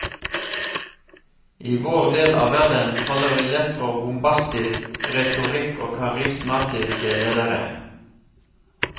I vår del av verden faller vi lett for bombastisk retorikk og karismatiske ledere.